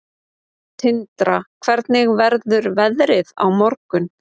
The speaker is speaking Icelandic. Tindra, hvernig verður veðrið á morgun?